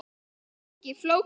Ekki flókið.